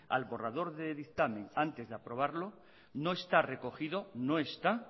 al borrador de dictamen antes de aprobarlo no está recogido no está